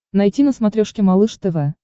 найти на смотрешке малыш тв